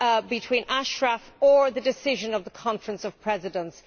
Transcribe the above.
between Ashraf or the decision of the Conference of Presidents.